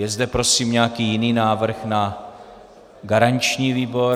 Je zde prosím nějaký jiný návrh na garanční výbor?